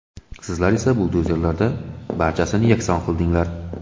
Sizlar esa buldozerlarda barchasini yakson qildinglar.